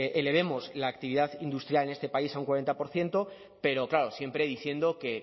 elevemos la actividad industrial en este país a un cuarenta por ciento pero claro siempre diciendo que